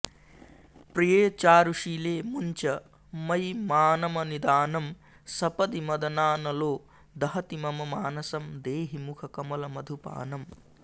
प्रिये चारुशीले मुञ्च मयि मानमनिदानं सपदि मदनानलो दहति मम मानसं देहि मुखकमलमधुपानम्